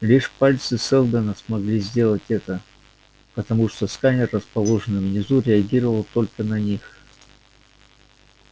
лишь пальцы сэлдона могли сделать это потому что сканер расположенный внизу реагировал только на них